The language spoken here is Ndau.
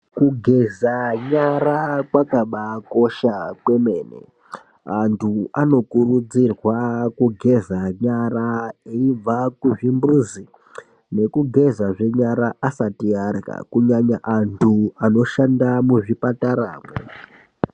Kugeza nyara kwakabaakosha kwemene, antu anokurudzirwa kugeza nyara eyibva kuzvimbuzi, nekugezazve nyara asati arya, kunyanya antu anoshanda muzvipatara mwo.